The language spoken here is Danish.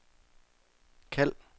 kald